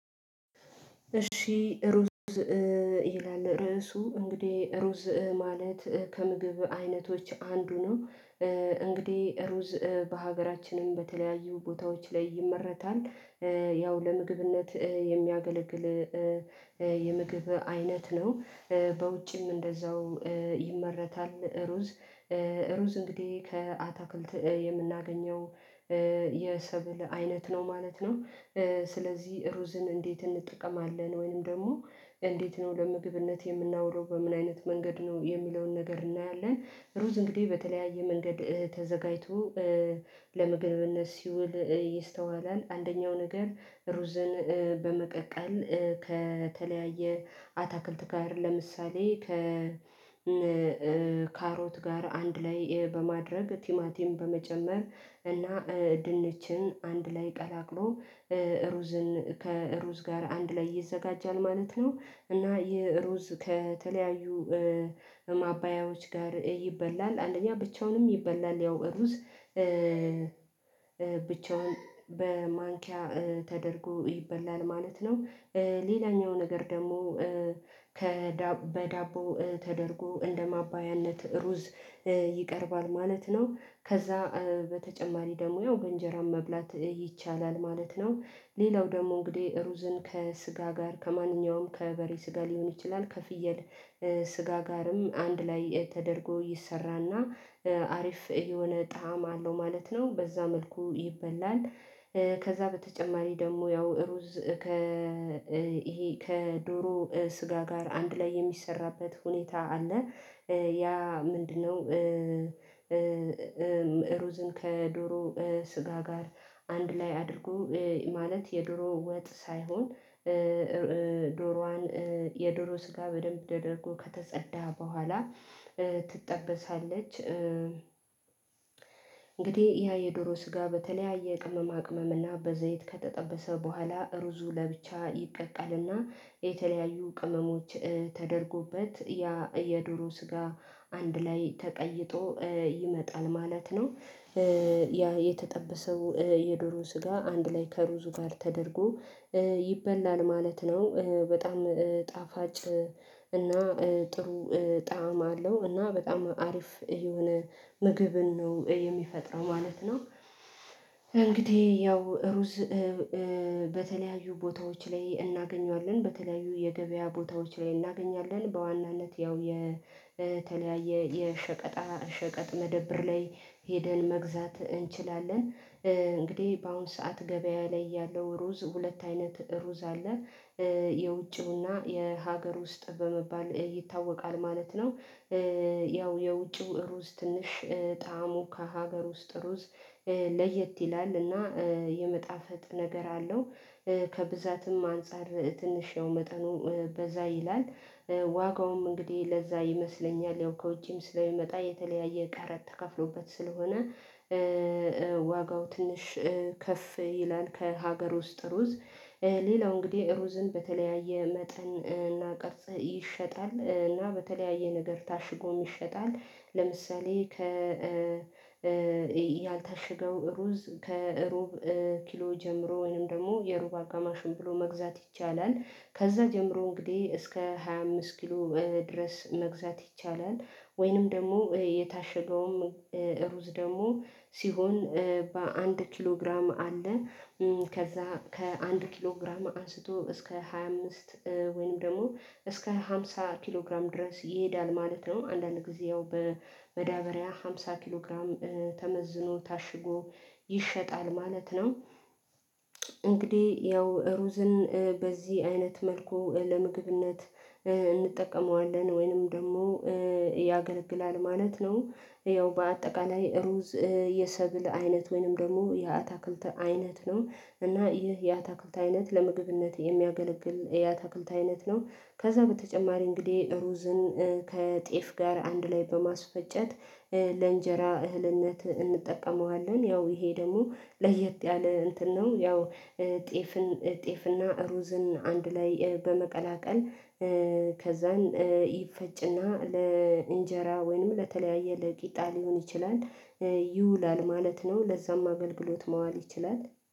እሺ ሩዝ ይላል ርዕሱ እንግዲህ ሩዝ ማለት ከምግብ አይነቶች አንዱ ነው። እንግዲህ ሩዝ በሀገራችንም በተለያዩ ቦታዎች ላይ ይመረታል። ያው ለምግብነት የሚያገለግል የምግብ አይነት ነው። በውጭም እንደዛው ይመረታል ሩዝ ሩዝ እንግዲህ ከአታክልት የምናገኘው የሰብል አይነት ነው ማለት ነው። ስለዚህ ሩዝን እንዴት እንጠቀማለን ወይንም ደግሞ እንዴት ነው ለምግብነት የምናዉለው በምን አይነት መንገድ ነው የሚለውን ነገር እናያለን? ሩዝ እንግዲህ በተለያየ መንገድ ተዘጋጅቶ ለመግብነት ሲውል ይስተዋላል። አንደኛው ነገር ሩዝን በመቀቀል ከተለያየ አታክልት ጋር ለምሳሌ ከ ከካሮት ጋር አንድ ላይ በማድረግ ቲማቲም በመጨመር እና ድንችን አንድ ላይ ቀላቅሎ ሩዝን ከሩዝ ጋር አንድ ላይ ይዘጋጃል ማለት ነው። እና ይህ ሩዝ ከተለያዩ ማባያዎች ጋር ይበላል አንደኛ ብቻውንም ይበላል ያው እሩዝ ብቻውን በማንኪያ ተደርጎ ይበላል ማለት ነው። ሌላኛው ነገር ደግሞ ከ በዳቦ ተደርጎ እንደማባያነት ሩዝ ይቀርባል ማለት ነው። ከዛ በተጨማሪ ደግሞ ያው በእንጀራም መብላት ይቻላል ማለት ነው። ሌላው ደግሞ እንግዲህ ሩዝን ከስጋ ጋር ከማንኛውም ከበሬ ስጋ ሊሆን ይችላል ከፍየል ስጋ ጋርም አንድ ላይ ተደርጎ ይሰራና አሪፍ የሆነ ጣዕም አለው ማለት ነው በዛ መልኩ ይበላል። ከዛ በተጨማሪ ደግሞ ያው ሩዝ ከ ይሄ ከዶሮ ስጋ ጋር አንድ ላይ የሚሰራበት ሁኔታ አለ። ያ ምንድነው? ሩዝን ከዶሮ ስጋ ጋር አንድ ላይ አድርጎ ማለት የዶሮ ወጥ ሳይሆን ዶሮዋን የዶሮ ስጋ በደንብ ተደርጎ ከተጸዳ በኋላ ትጠበሳለች። እንግዲህ ያ የዶሮ ስጋ በተለያየ ቅመማ ቅመም እና በዘይት ከተጠበሰ በኋላ ሩዙ ለብቻ ይቀቀልና የተለያዩ ቅመሞች ተደርጎበት ያ የዶሮ ስጋ አንድ ላይ ተቀይጦ ይመጣል ማለት ነው። ያ የተጠበሰው የዶሮ ስጋ አንድ ላይ ከሩዙ ጋር ተደርጎ ይበላል ማለት ነው። በጣም ጣፋጭ እና ጥሩ ጣዕም አለው እና በጣም አሪፍ የሆነ ምግብን ነው የሚፈጥረው ማለት ነው። እንግዲህ ያው ሩዝ በተለያዩ ቦታዎች ላይ እናገኘዋለን በተለያዩ የገበያ ቦታዎች ላይ እናገኛለን በዋናነት ያው የተለያየ የሸቀጣ ሸቀጥ መደብር ላይ ሄደን መግዛት እንችላለን እንግዲህ በአሁን ሰዓት ገበያ ላይ ያለው ሩዝ ሁለት አይነት ሩዝ አለ። የውጭው እና የሀገር ውስጥ በመባል ይታወቃል ማለት ነው። ያው የውጭው ትንሽ ጣዕሙ ከሀገር ውስጥ ሩዝ ለየት ይላል እና የመጣፈት ነገር አለው ከብዛትም አንፃር ትንሽ ያው መጠኑ በዛ ይላል። ዋጋውም እንግዲህ ለዛ ይመስለኛል ያው ከውጪም ስለሚመጣ የተለያየ ቀረጥ ተከፍሎበት ስለሆነ ዋጋው ትንሽ ከፍ ይላል። ከሀገር ውስጥ ሩዝ ሌላው እንግዲህ ሩዝን በተለያየ መጠን እና ቅርጽ ይሸጣል እና በተለያየ ነገር ታሽጎም ይሸጣል። ለምሳሌ ከ ያልታሸገው ሩዝ ከሩብ ኪሎ ጀምሮ ወይንም ደግሞ የሩብ አጋማሽን ብሎ መግዛት ይቻላል። ከዛ ጀምሮ እንግዲህ እስከ ሃያ አምስት ኪሎ ድረስ መግዛት ይቻላል። ወይንም ደግሞ የታሸገዉም ሩዝ ደግሞ ሲሆን በአንድ ኪሎ ግራም አለ። ከዛ ከአንድ ኪሎ ግራም አንስቶ እስከ ሃያ አምስት ወይንም ደግሞ እስከ አምሳ ኪሎ ግራም ድረስ ይሄዳል ማለት ነው አንዳንድ ጊዜ ያው በመዳበሪያ አምሳ ኪሎ ግራም ተመዝኖ ታሽጎ ይሸጣል ማለት ነው። እንግዲህ ያው ሩዝን በዚህ አይነት መልኩ ለምግብነት እንጠቀመዋለን ወይንም ደግሞ ያገለግላል ማለት ነው። ያው በአጠቃላይ ሩዝ የሰብል አይነት ወይንም ደግሞ የአታክልት አይነት ነው እና ይህ የአታክልት አይነት ለምግብነት የሚያገለግል የአታክልት አይነት ነው። ከዛ በተጨማሪ እንግዲህ ሩዝን ከጤፍ ጋር አንድ ላይ በማስፈጨት ለእንጀራ እህልነት እንጠቀመዋለን ያው ይሄ ደግሞ ለየት ያለ እንትን ነው ያው ጤፍን ጤፍና ሩዝን አንድ ላይ በመቀላቀል ከዛን ይፈጭና ለእንጀራ ወይንም ለተለያየ ቂጣ ሊሆን ይችላል ይውላል ማለት ነው። ለዛም አገልግሎት መዋል ይችላል